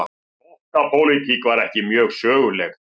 Flokkapólitík var ekki mjög söguleg.